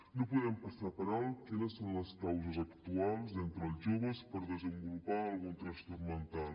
no podem passar per alt quines són les causes actuals entre els joves per desenvolupar algun trastorn mental